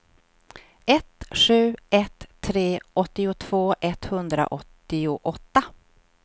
ett sju ett tre åttiotvå etthundraåttioåtta